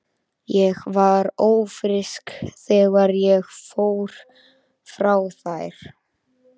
Ég var ófrísk þegar ég fór frá þér.